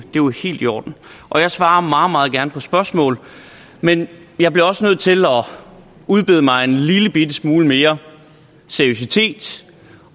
helt i orden og jeg svarer meget meget gerne på spørgsmål men jeg bliver også nødt til at udbede mig en lillebitte smule mere seriøsitet